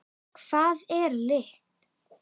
Hvað er lykt?